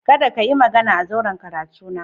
Kada ka yi magana a zauren karatuna